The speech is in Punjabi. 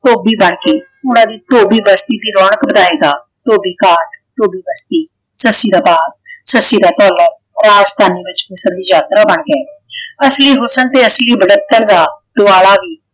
ਧੋਬੀ ਬਣਕੇ ਉਹਨਾਂ ਦੀ ਧੋਬੀ ਬਸਤੀ ਦੀ ਰੌਣਕ ਵਧਾਏਗਾ । ਧੋਬੀ ਘਾਟ ਧੋਬੀ ਬਸਤੀ ਸੱਸੀ ਦਾ ਬਾਪ ਸੱਸੀ ਦਾ ਭਾਲਾ ਰਾਜਧਾਨੀ ਵਿੱਚ ਸਿਰਫ ਯਾਤਰਾ ਬਣ ਗਏ । ਅਸਲੀ ਹੁਸਨ ਤੇ ਅਸਲੀ ਵੱਢਪਨ ਦਾ ਦੁਆਲਾ ਵੀ